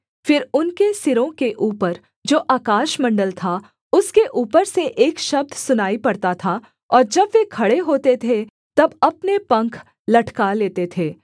फिर उनके सिरों के ऊपर जो आकाशमण्डल था उसके ऊपर से एक शब्द सुनाई पड़ता था और जब वे खड़े होते थे तब अपने पंख लटका लेते थे